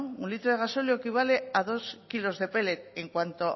no un litro de gasóleo equivale a dos kilos de pellet en cuanto